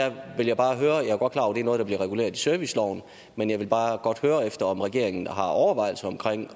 er noget der bliver reguleret i serviceloven men jeg vil bare godt høre om regeringen har overvejelser